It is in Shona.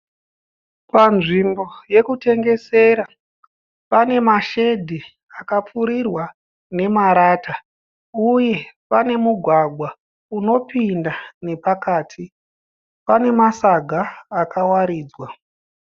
Panzvimbo yekutengesera pane ma shedhi akapfirirwa nemarata, uye panemugwagwa unopinda nepakati. Pane Masagi akawaridzwa.